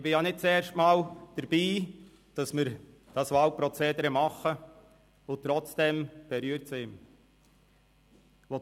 Ich bin ja nicht das erste Mal bei diesem Wahlprozedere mit dabei, aber trotzdem berührt es mich.